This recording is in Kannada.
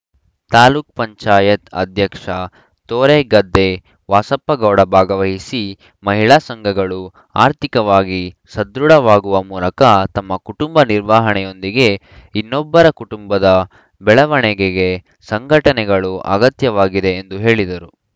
ತಾಲೂಕ್ ಪಂಚಾಯತ್ ಅಧ್ಯಕ್ಷ ತೋರೆಗದ್ದೆ ವಾಸಪ್ಪಗೌಡ ಭಾಗವಹಿಸಿ ಮಹಿಳಾ ಸಂಘಗಳು ಆರ್ಥಿಕವಾಗಿ ಸದೃಡವಾಗುವ ಮೂಲಕ ತಮ್ಮ ಕುಟುಂಬ ನಿರ್ವಹಣೆಯೊಂದಿಗೆ ಇನ್ನೊಬ್ಬರ ಕುಟುಂಬದ ಬೆಳವಣಿಗೆಗೆ ಸಂಘಟನೆಗಳು ಅಗತ್ಯವಾಗಿದೆ ಎಂದು ಹೇಳಿದರು